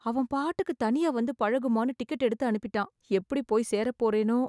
அவன்பாட்டுக்கு தனியா வந்து பழகுமான்னு டிக்கெட் எடுத்து அனுப்பிட்டான்... எப்டி போய் சேரப் போறேனோ?